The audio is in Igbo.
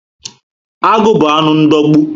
Agụ bu anụ ndogbu